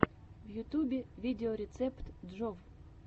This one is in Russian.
в ютюбе видеорецепт джов